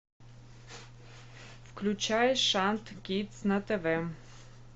включай шант кидс на тв